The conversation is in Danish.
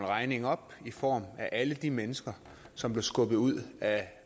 regningen op i form af alle de mennesker som blev skubbet ud af